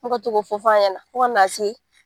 Me ka to k'o fɔ fɔ a ɲɛna fo ka n'a se